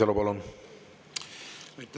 Aitäh!